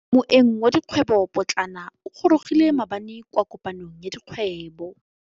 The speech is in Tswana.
Moêng wa dikgwêbô pôtlana o gorogile maabane kwa kopanong ya dikgwêbô.